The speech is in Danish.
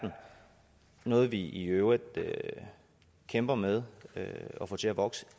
noget vi i øvrigt kæmper med at få til at vokse